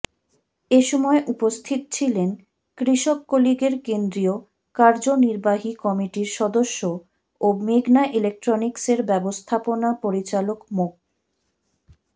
এ সময় উপস্থিত ছিলেন কৃষকলীগের কেন্দ্রীয় কার্যনির্বাহী কমিটির সদস্য ও মেঘনা ইলেকট্রনিকসের ব্যবস্থাপনা পরিচালক মো